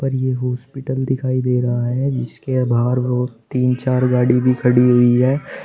ये हॉस्पिटल दिखाई दे रहा है जिसके बाहर बहुत तीन चार गाड़ी भी खड़ी हुई है।